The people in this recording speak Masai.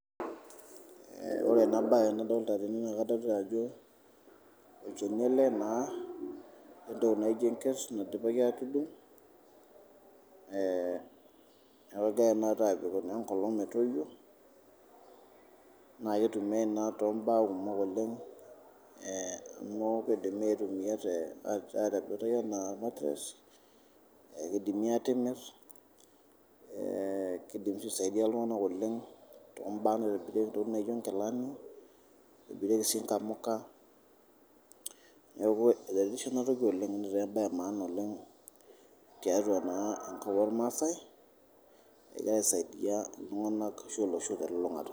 Ore ena bae nadolita tene naa katodua ajo olchoni ale naa, neitainyoki enkerr naidipaki aatudung' neaku keyai taata aibik enkolong etoiyo, naa keitumiyai naa te mbaa kumok oleng, amu keidimi aitumiyai atepetai anaa matress ,ekeidimi aatimir, keidim aisadia ltungana oleng tombaa naitobiri ntoki naji enkilani, eitibireki si nkamuka, neaku eretisho ana toki oleng netaa mbae emaana oleng teatua naa kulo maasai egira aisadia ltunganak ashu olosho te lulungata.